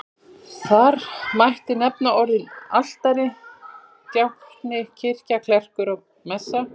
Þar mætti nefna orðin altari, djákni, kirkja, klerkur, messa.